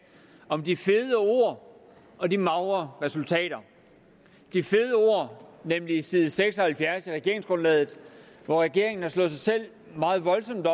om de fede ord og de magre resultater de fede ord nemlig side seks og halvfjerds i regeringsgrundlaget hvor regeringen har slået sig selv meget voldsomt